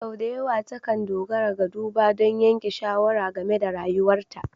Sau da yawa takan dogara ga duba don yanke shawara game da rayuwarta.